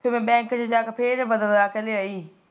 ਤੇ ਮੈ ਬੈਂਕ ਜਾਂਕੇ ਫਿਰ ਬਦਲਾ ਕੇ ਲਿਆਈ